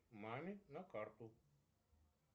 маме на карту